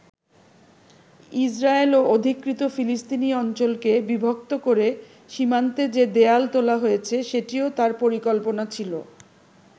Israel ও অধিকৃত ফিলিস্তিনি অঞ্চলকে বিভক্ত করে সীমান্তে যে দেয়াল তোলা হয়েছে, সেটিও তার পরিকল্পনা ছিল।